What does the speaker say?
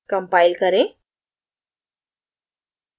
compile करें